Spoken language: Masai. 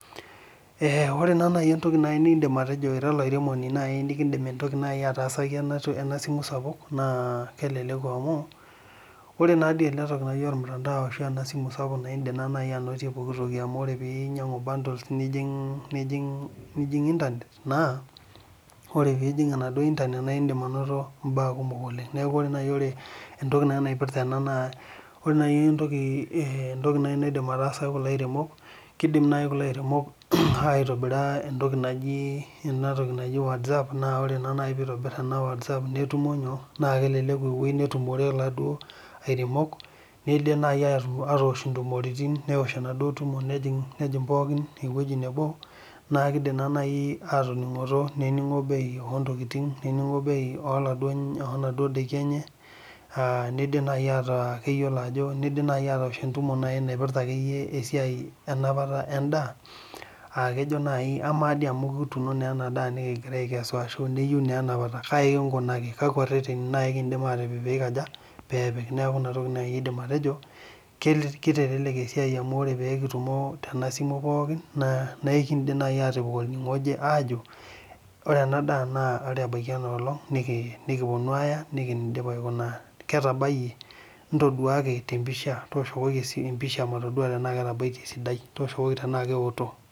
Ee ore nai entoki nifim atejo ira olaremoni nikidimataasaki enasimu sapuk na kelelek amu ore nai enasimu sapuk na indim anotie ntoitim kumok amu ore ake pinyangu bundles nijing internet na ore pijing internet na indim ainto mbaa kumol oleng neaku ore nai entoki naidim aitaasa kulo aremok nakidim nai atabol entoki naijo watsapp na nai peitobir netumo na kelelek ewoi natumo laduo aremok nakelelek nai ewosh naduo tumoritin nehing pooki ewoi nebo na kidim nai atoningunoto neningo bei onaduo tokitin enye aa nidim nai ataa atoosho entumo enapata endaa ama nai amu kituuno endaa nikikesu neyieu na enapata kai kinkunaki? Kakwa reteni kidim atipik petum kitelelk esiai amu ore pekitumo tenewueji na ekindim atipik retenu ajo ore embaki enkolong naje nikiponu aya ketabayie ntoduaki temapisha tonduaki tanaa keoto.